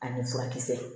A ni furakisɛ